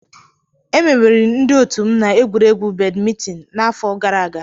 Emeriri ndị otu m na egwuregwu badmịntịn n'afọ gara aga